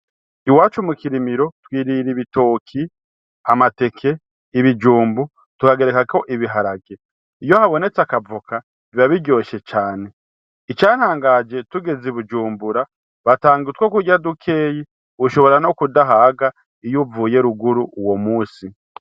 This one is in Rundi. Iwacu mu Kirimiro twirira ibitoki, amateke, ibijumbu tukagerekako ibiharage. Iyo habonetse akavoka biba biryoshe cane. Icantangaje, tugeze i Bujumbura batanga utwo kurya dukeyi, ushobora n'ukudahaga iyo uvuye ruguru uwo munsi.